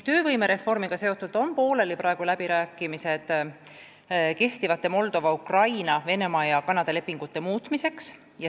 Töövõimereformiga seotult on praegu pooleli läbirääkimised, et muuta kehtivaid lepinguid Moldova, Ukraina, Venemaa ja Kanadaga.